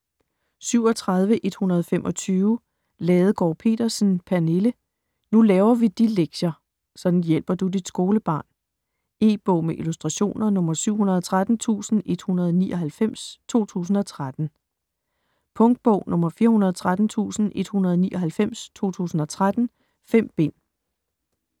37.125 Ladegaard Pedersen, Pernille: Nu laver vi de lektier!: sådan hjælper du dit skolebarn E-bog med illustrationer 713199 2013. Punktbog 413199 2013. 5 bind.